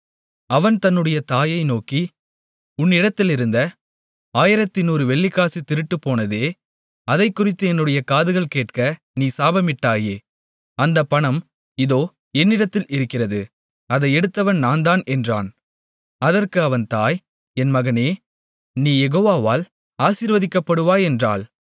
அவன் தன்னுடைய தாயை நோக்கி உன்னிடத்திலிருந்த 1100 வெள்ளிக்காசு திருட்டுபோனதே அதைக்குறித்து என்னுடைய காதுகள் கேட்க நீ சாபமிட்டாயே அந்தப் பணம் இதோ என்னிடத்தில் இருக்கிறது அதை எடுத்தவன் நான்தான் என்றான் அதற்கு அவன் தாய் என் மகனே நீ யெகோவாவால் ஆசீர்வதிக்கப்படுவாய் என்றாள்